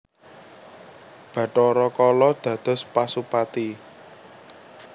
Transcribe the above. Bathara Kala dados Pasupati